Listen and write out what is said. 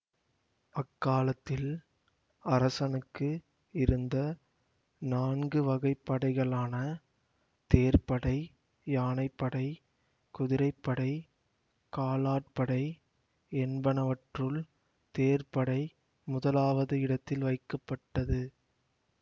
அக்காலத்தில் அரசனுக்கு இருந்த நான்கு வகைப் படைகளான தேர் படை யானை படை குதிரை படை காலாட்படை என்பனவற்றுள் தேர் படை முதலாவது இடத்தில் வைக்கப்பட்டது